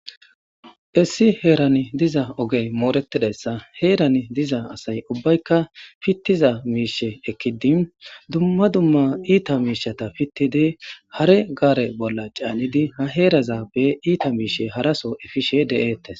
Issi herani diza ogee mooreththidayssa heeran diza asay ubbaykka piththiza miishshe ekkidi dumma dumma iitha miishshatha piththidi hare gaare bolla caanidi ba heerazappe iithe miishsha harasoo efishee de7eeththes.